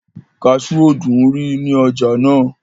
kasú ò dúnrí ní ọjà náà